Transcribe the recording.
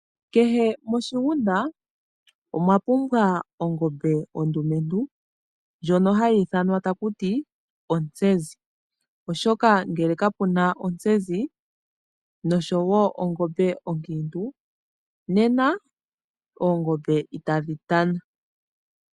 Kehe moshigunda omwa pumbwa ongombe ondumentu, ndjono hayi ithanwa ontsezi , oshoka ngele kapuna ontsezi oshowoo ongombe onkiintu nena itadhi tana.